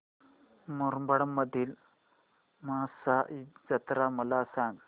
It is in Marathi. मुरबाड मधील म्हसा जत्रा मला सांग